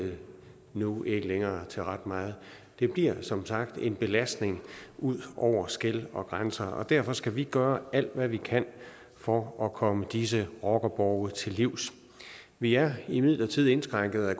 nu ikke længere til ret meget det bliver som sagt en belastning ud over skel og grænser og derfor skal vi gøre alt hvad vi kan for at komme disse rockerborge til livs vi er imidlertid indskrænket af